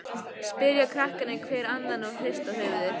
spyrja krakkarnir hver annan og hrista höfuðið.